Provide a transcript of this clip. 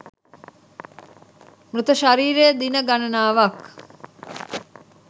මෘත ශරීරය දින ගණනාවක්